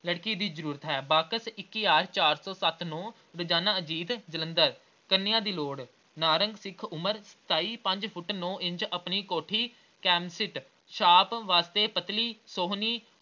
ਲੜਕੀ ਦੀ ਜ਼ਰੂਰਤ ਹੈ। ਬਾਕਸ ਇੱਕ ਹਜ਼ਾਰ ਸੌ ਸੱਤ ਨੌਂ ਰੋਜ਼ਾਨਾ ਅਜੀਤ ਜਲੰਧਰ ਕੰਨਿਆਂ ਦੀ ਲੋੜ ਨਾਰੰਗ ਸਿੱਖ ਉਮਰ ਸਤਾਈ, ਪੰਜ ਫੁੱਟ ਨੌਂ ਇੰਚ ਆਪਣੀ ਕੋਠੀ ਛਾਪ ਵਾਸਤੇ ਪਤਲੀ ਸੋਹਣੀ